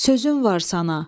Sözüm var sana.